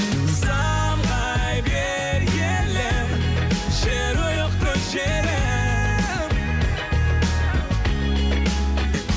самғай бер елім жерұйықты жерім